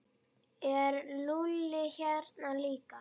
Er Lúlli hérna líka?